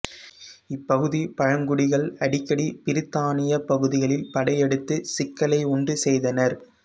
இப்பகுதி பழங்குடிகள் அடிக்கடி பிரித்தானியப் பகுதிகளில் படையெடுத்து சிக்கலை உண்டு செய்தனர்